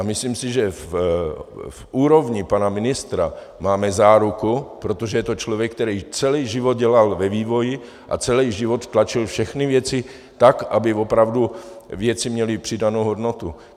A myslím si, že v úrovni pana ministra máme záruku, protože to je člověk, který celý život dělal ve vývoji a celý život tlačil všechny věci tak, aby opravdu věci měly přidanou hodnotu.